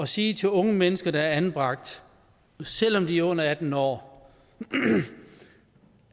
sige til unge mennesker der er anbragt selv om de er under atten år